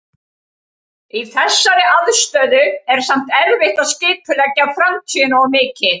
Í þessari aðstöðu er samt erfitt að skipuleggja framtíðina of mikið.